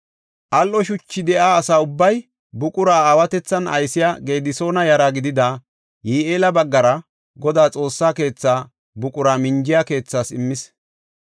Al77o shuchi de7iya asa ubbay buqura aysiya Gedisoona yara gidida Yi7eela baggara Godaa Xoossa keetha buqura minjiya keethaas immis.